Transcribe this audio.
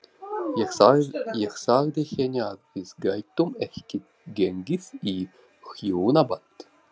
Ég sagði henni að við gætum ekki gengið í hjónaband.